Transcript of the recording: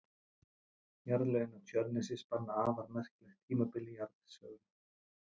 Jarðlögin á Tjörnesi spanna afar merkilegt tímabil í jarðsögunni.